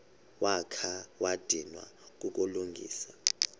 wakha wadinwa kukulungisa